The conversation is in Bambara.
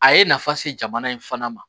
A ye nafa se jamana in fana ma